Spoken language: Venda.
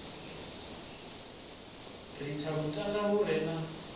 ritha lutanda lu re na